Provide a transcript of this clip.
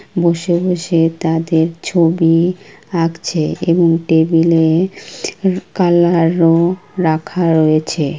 বসে বসে তাদের ছবি আঁকছে এবং টেবিলে কালার -ও রাখা রয়েছে।